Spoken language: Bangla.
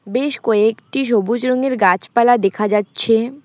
বেশ কয়েকটি সবুজ রঙের গাছপালা দেখা যাচ্ছে।